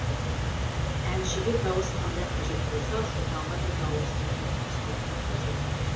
әншіге дауыс қандай қажет болса шопанға да дауыс деген соншалықты қажет